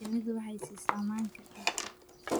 Shinnidu waxay siisaa manka dhirta.